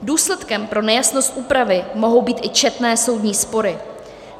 Důsledkem pro nejasnost úpravy mohou být i četné soudní spory.